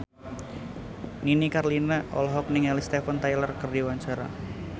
Nini Carlina olohok ningali Steven Tyler keur diwawancara